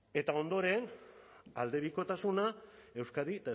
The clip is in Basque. eta ondoren aldebikotasuna euskadi